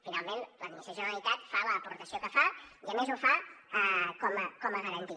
finalment l’administració de la generalitat fa l’aportació que fa i a més ho fa com a garantia